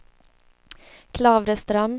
Klavreström